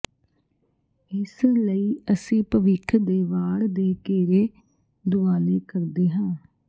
ਇਸ ਲਈ ਅਸੀਂ ਭਵਿੱਖ ਦੇ ਵਾੜ ਦੇ ਘੇਰੇ ਦੁਆਲੇ ਕਰਦੇ ਹਾਂ